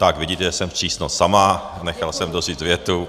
Tak vidíte, že jsem přísnost sama, nechal jsem doříct větu.